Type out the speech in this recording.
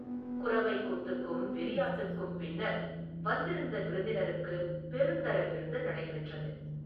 குரவைக் கூத்துக்கும் வெறியாட்டுக்கும் பின்னர், வந்திருந்த விருந்தினருக்குப் பெருந்தர விருந்து நடைபெற்றது.